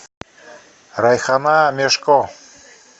райхана мешко